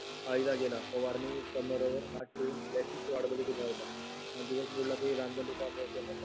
वाईला गेला फवारणी कंबर वर हात ठेवून चीच वाट बघत होता दिवस बुडला की